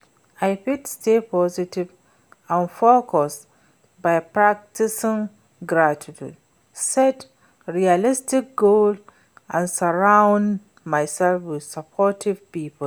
i fit stay positive and focused by practicing gratitude, set realistic goals and surround myself with supportive people.